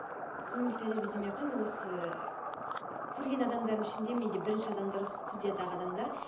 өмірлік тәжірибе демей ақ қояйын осы көрген адамдарымдың ішінде менде бірінші адамдар студиядағы адамдар